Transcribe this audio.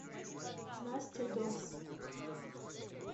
настя докс